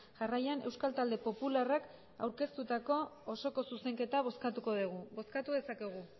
jarraian euskal talde popularrak aurkeztutako osoko zuzenketa bozkatuko dugu bozkatu dezakegu